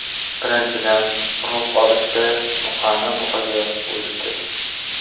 Birinchidan, urug‘ olishda buqani buqaga qo‘yishdi.